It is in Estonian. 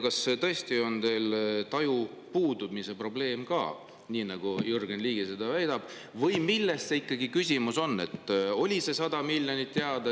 Kas tõesti on teil taju puudumise probleem, nii nagu Jürgen Ligi seda väidab, või milles ikkagi küsimus on?